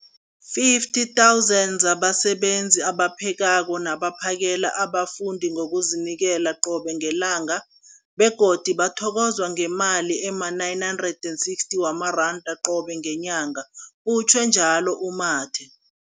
50 000 zabasebenzi abaphekako nabaphakela abafundi ngokuzinikela qobe ngelanga, begodu bathokozwa ngemali ema-960 wamaranda qobe ngenyanga, utjhwe njalo u-Mathe.